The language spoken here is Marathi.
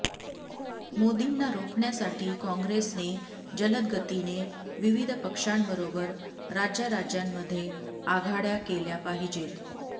मोदींना रोखण्यासाठी काँग्रेसने जलदगतीने विविध पक्षांबरोबर राज्याराज्यांमध्ये आघाडय़ा केल्या पाहिजेत